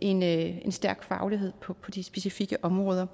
ind med en stærk faglighed på de specifikke områder